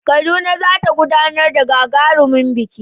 Kaduna za ta gudanar da gagarumin biki